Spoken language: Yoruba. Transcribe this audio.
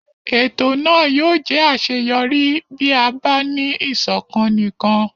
Ètò náà yóò jẹ́ àṣeyọrí bí a bá ní ìṣọ̀kan nìkan.